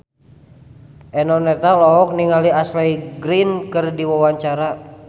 Eno Netral olohok ningali Ashley Greene keur diwawancara